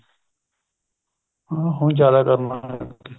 ਹਾਂ ਹੁਣ ਜਿਆਦਾ ਕਰਨ ਲੱਗ ਗਏ